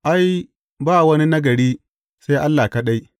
Ai, ba wani nagari, sai Allah kaɗai.